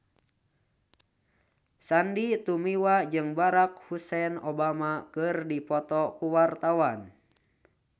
Sandy Tumiwa jeung Barack Hussein Obama keur dipoto ku wartawan